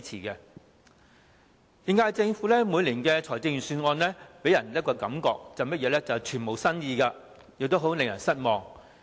現屆政府每年的財政預算案均予人一種感覺，便是全無新意，令人十分失望。